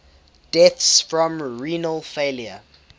deaths from renal failure